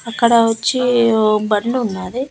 అక్కడ వచ్చి ఓ బండున్నాది.